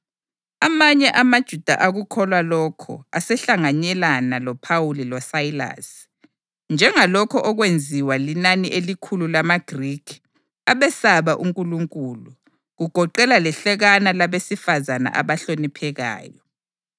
Amanye amaJuda akukholwa lokho asehlanganyelana loPhawuli loSayilasi, njengalokho okwenziwa linani elikhulu lamaGrikhi abesaba uNkulunkulu, kugoqela lehlekanyana labesifazane abahloniphekayo.